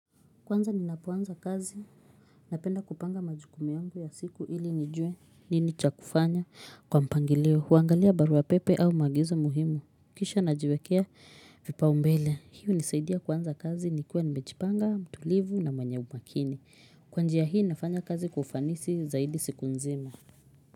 Kwanza ninapoanza kazi, napenda kupanga majukumu yangu ya siku ili nijue nini cha kufanya kwa mpangilio, huangalia barua pepe au maagizo muhimu, kisha najiwekea vipaumbele, hii hunisaidia kuanza kazi nikiwa nimejipanga mtulivu na mwenye umakini, kwa njia hii nafanya kazi kwa ufanisi zaidi siku nzima.